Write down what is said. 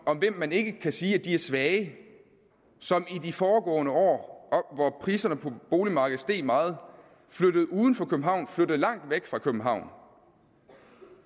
om hvem man ikke kan sige at de er svage som i de foregående år hvor priserne på boligmarkedet steg meget flyttede uden for københavn flyttede langt væk fra københavn